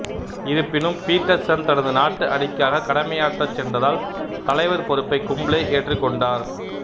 இருப்பினும் பீட்டர்சன் தனது நாட்டு அணிக்காக கடமையாற்றச் சென்றதால் தலைவர் பொறுப்பை கும்ப்ளே ஏற்றுக்கொண்டார்